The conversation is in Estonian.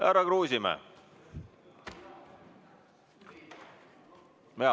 Härra Kruusimäe!